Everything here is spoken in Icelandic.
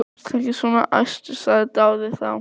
Vertu ekki svona æstur, sagði Daði þá.